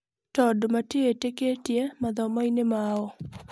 Tondũ matiĩĩtĩkĩtie mathomo-inĩ mao.